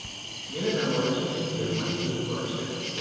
Meni davolash uchun Germaniyaga yuborishdi.